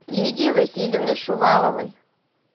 лидии васильевны шуваловой